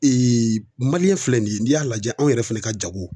filɛ nin ye n'i y'a lajɛ anw yɛrɛ fɛnɛ ka jago